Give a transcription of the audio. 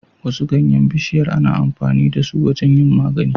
Wasu ganyan bishiyar ana amfani dasu wajan yin magani